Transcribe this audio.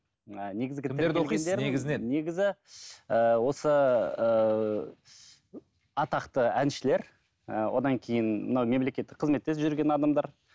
негізі ііі осы ііі атақты әншілер ііі одан кейін мынау мемлекеттік қызметте жүрген адамдар